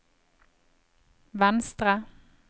venstre